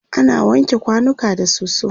ana wanke kwanuka da soso